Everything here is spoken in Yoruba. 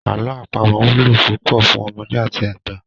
Àlọ́ àpamọ wúlò púpọ̀ fún ọmọdé àti àgbà.